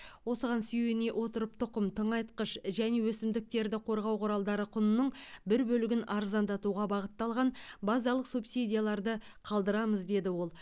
осыған сүйене отырып тұқым тыңайтқыш және өсімдіктерді қорғау құралдары құнының бір бөлігін арзандатуға бағытталған базалық субсидияларды қалдырамыз деді ол